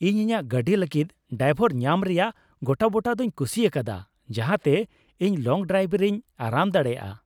ᱤᱧ ᱤᱧᱟᱹᱜ ᱜᱟᱹᱰᱤ ᱞᱟᱹᱜᱤᱫ ᱰᱟᱭᱵᱚᱨ ᱧᱟᱢ ᱨᱮᱭᱟᱜ ᱜᱚᱴᱟᱵᱩᱴᱟᱹ ᱫᱩᱧ ᱠᱩᱥᱤ ᱟᱠᱟᱫᱟ ᱡᱟᱦᱟᱸᱛᱮ ᱤᱧ ᱞᱚᱝ ᱰᱨᱟᱭᱤᱵᱷ ᱨᱮᱧ ᱟᱨᱟᱢ ᱫᱟᱲᱮᱭᱟᱜ ᱾